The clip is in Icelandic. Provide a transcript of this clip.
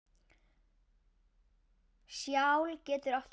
Skjal getur átt við